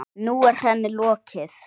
Nú er henni lokið.